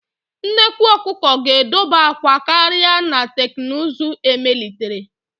Nnekwu ọkụkọ ga-edoba akwa karịa na teknụzụ emelitere.